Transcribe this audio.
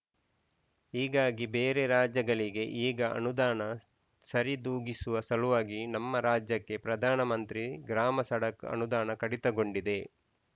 ಹೀಗಾಗಿ ಬೇರೆ ರಾಜ್ಯಗಳಿಗೆ ಈಗ ಅನುದಾನ ಸರಿದೂಗಿಸುವ ಸಲುವಾಗಿ ನಮ್ಮ ರಾಜ್ಯಕ್ಕೆ ಪ್ರಧಾನ ಮಂತ್ರಿ ಗ್ರಾಮಸಡಕ್‌ ಅನುದಾನ ಕಡಿತಗೊಂಡಿದೆ